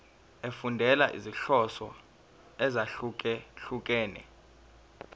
efundela izinhloso ezahlukehlukene